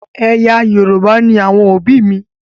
Ẹ̀yà Yorùbá ni àwọn òbí mi.